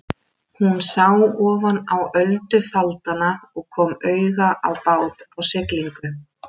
Hún sá ofan á öldufaldana og kom auga á bát á siglingu.